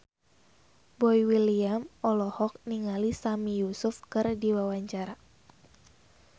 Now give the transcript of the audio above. Boy William olohok ningali Sami Yusuf keur diwawancara